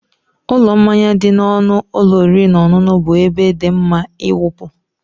Ụlọ mmanya dị n'ọnụ ụlọ oriri na ọṅụṅụ bụ ebe dị mma ịwụpụ.